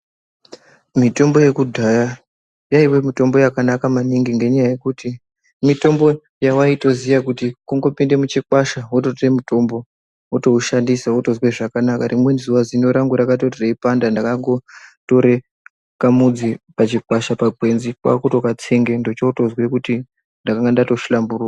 Mitombo ye kudhaya yaiva mutombo yakanaka maningi ngenyaa yekuti mitombo yavaito ziya kuti kungo pinda mu chikwasha woto tore mutombo woto usashandisa wotozwe zvakanaka rimweni zuva zino rangu rakatoto reyi ndakango tore ka mudzi pachi kwasha pa ngwenzi kwakutoka tsenge p ndocho tozwe kuti ndanga ndato hlamburika.